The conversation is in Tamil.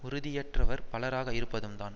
உறுதியற்றவர் பலராக இருப்பதும் தான்